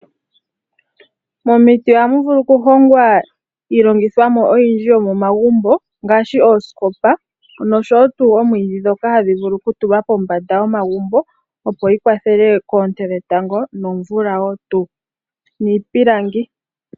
Momiti ohamu vulu okuhongwa iilongithomwa oyindji yomomagumbo ngaashi oosikopa noshowoo oomwiidhi ndhoka hadhi okutulwa pombanda yomagumbo opo yikwathele koonte dhetango nomvula wo tuu niipilangi.